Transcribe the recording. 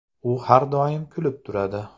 U har doim kulib turadi.